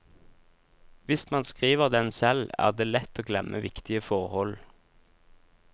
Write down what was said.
Hvis man skriver den selv, er det lett å glemme viktige forhold.